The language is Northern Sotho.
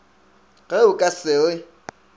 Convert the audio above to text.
ge o ka se re